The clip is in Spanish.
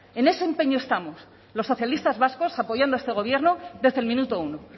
en ese empeño estamos los socialistas vascos apoyando a este gobierno desde el minuto uno